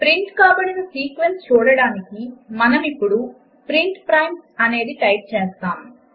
print కాబడిన sequence చూడడానికి మనమిప్పుడు ప్రింట్ ప్రైమ్స్ అనేది టైప్ చేస్తాము